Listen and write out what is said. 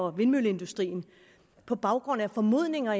og vindmølleindustrien på baggrund af formodninger